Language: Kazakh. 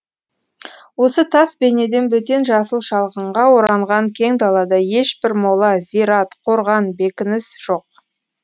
осы тас бейнеден бөтен жасыл шалғынға оранған кең далада ешбір мола зират қорған бекініс жоқ